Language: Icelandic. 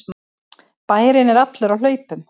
Bærinn er allur á hlaupum!